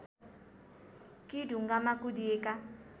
कि ढुङ्गामा कुदिएका